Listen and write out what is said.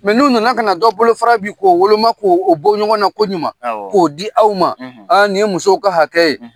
Mɛ n'u nana kana na dɔ bolofa' k'o woloma k' o bɔ ɲɔgɔn na koɲuman k'o di aw ma aa nin ye musow ka hakɛ ye